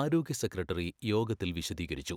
ആരോഗ്യ സെക്രട്ടറി യോഗത്തിൽ വിശദീകരിച്ചു.